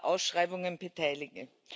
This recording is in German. Ausschreibungen beteilige.